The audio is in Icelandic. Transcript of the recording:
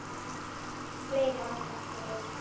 Fleiri aka eftir einn.